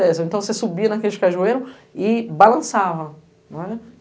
Então, você subia naqueles cajueiros e balançava, nao era?